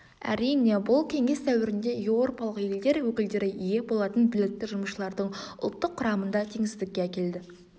әрине бұл кеңес дәуірінде еуропалық елдер өкілдері ие болатын білікті жұмысшылардың ұлттық құрамында теңсіздікке әкеледі